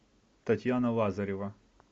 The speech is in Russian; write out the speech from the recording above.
татьяна лазарева